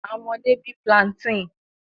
Awọn ọmọde bi plantain